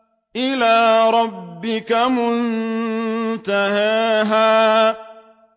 إِلَىٰ رَبِّكَ مُنتَهَاهَا